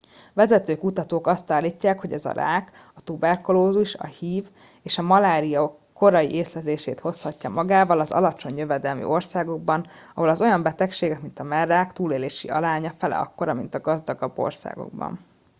vezető kutatók azt állítják hogy ez a rák a tuberkulózis a hiv és a malária korai észlelését hozhatja magával az alacsony jövedelmű országokban ahol az olyan betegségek mint a mellrák túlélési aránya fele akkora mint a gazdagabb országokban